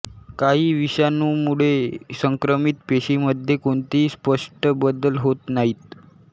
काही विषाणूंमुळे संक्रमित पेशीमध्ये कोणतेही स्पष्ट बदल होत नाहीत